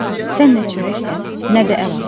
Sən nə çörəksən, nə də əl ağacı.